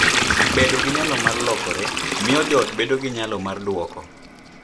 Bedo gi nyalo mar lokore miyo joot bedo gi nyalo mar dwoko .